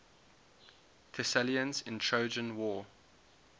thessalians in the trojan war